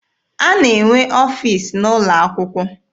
A na-enwe ọfiisi n'ụlọ akwụkwọ.